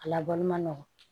A labɔli ma nɔgɔn